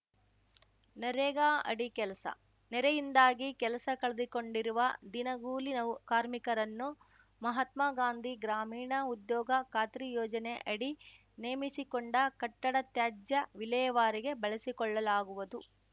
ನರೇಗಾ ಅಡಿ ಕೆಲಸ ನೆರೆಯಿಂದಾಗಿ ಕೆಲಸ ಕಳೆದುಕೊಂಡಿರುವ ದಿನಗೂಲಿ ನೌ ಕಾರ್ಮಿಕರನ್ನು ಮಹಾತ್ಮಗಾಂಧಿ ಗ್ರಾಮೀಣ ಉದ್ಯೋಗ ಖಾತ್ರಿ ಯೋಜನೆ ಅಡಿ ನೇಮಿಸಿಕೊಂಡ ಕಟ್ಟಡ ತ್ಯಾಜ್ಯ ವಿಲೇವಾರಿಗೆ ಬಳಸಿಕೊಳ್ಳಲಾಗುವುದು